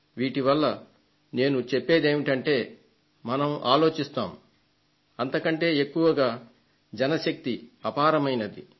వీటి వల్ల నేను చెప్పేది ఏమిటంటే మనం ఆలోచిస్తాం అంతకంటే ఎక్కువగా జనశక్తి అపారమైంది అని